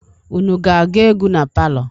Unu ga-aga egwu na palọ?